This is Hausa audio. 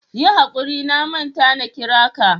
Yi hakuri na manta na kira ka.